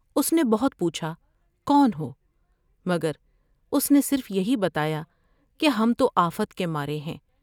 اس نے بہت پوچھا کون ہومگر اس نے صرف یہی بتایا کہ ہم تو آفت کے مارے ہیں ۔